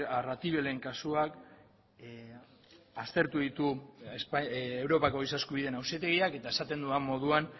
arratibelen kasuak aztertu ditu europako giza eskubideen auzitegiak eta esaten dudan moduan